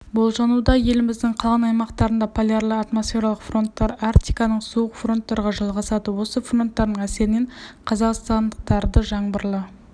болжануда еліміздің қалған аймақтарында полярлы атмосфералық фронттар арктиканың суық фронттарға жалғасады осы фронттардың әсерінен қазақстандықтардыжаңбырлы